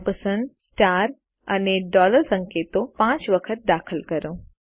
ampersand star અને dollar સંકેતો 5 વખત દાખલ કરો